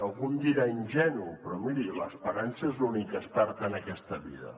algú em dirà ingenu però miri l’esperança és l’últim que es perd en aquesta vida